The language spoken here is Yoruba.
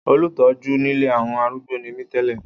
Olùtọ́jú nílé àwọn arúgbó ni mí tẹ́lẹ̀.